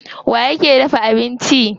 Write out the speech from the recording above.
Waye yake dafa abinci?